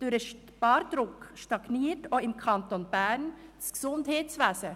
Durch den Spardruck stagniert auch im Kanton Bern das Gesundheitswesen.